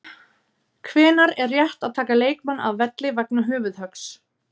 Hvenær er rétt að taka leikmann af velli vegna höfuðhöggs?